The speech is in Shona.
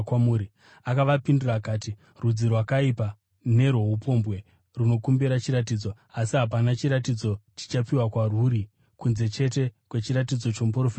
Akavapindura akati, “Rudzi rwakaipa nerwoupombwe runokumbira chiratidzo! Asi hapana chiratidzo chichapiwa kwarwuri kunze chete kwechiratidzo chomuprofita Jona.